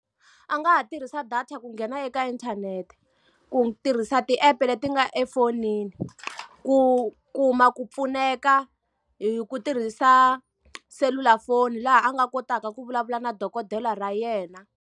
A nga ha tirhisa data ku nghena eka inthanete, ku tirhisa ti-app-e leti nga efonini, ku kuma ku pfuneka hi ku tirhisa selulafoni laha a nga kotaka ku vulavula na dokodela ra yena.